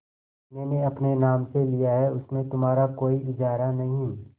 मैंने अपने नाम से लिया है उसमें तुम्हारा कोई इजारा नहीं